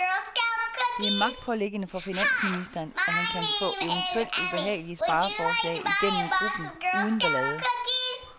Det er magtpåliggende for finansministeren, at han kan få eventuelt ubehagelige spareforslag igennem gruppen uden ballade.